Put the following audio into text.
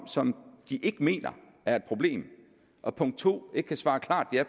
som de ikke mener er et problem og punkt to ikke kan svare klart ja